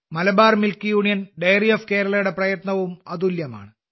Malabar milk union dairy of കേരളയുടെ പ്രയത്നവും അതുല്യമാണ്